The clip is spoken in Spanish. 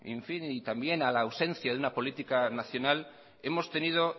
y también a la ausencia de una política nacional hemos tenido